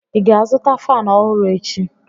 ị ga-azụta fan ọhụrụ echi?